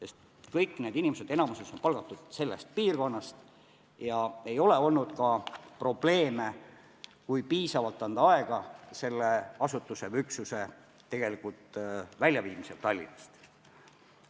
Enamikus on need inimesed palgatud samast piirkonnast ega ole probleeme olnud, kui anda piisavalt aega asutuse või üksuse väljaviimiseks Tallinnast.